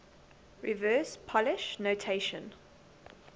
reverse polish notation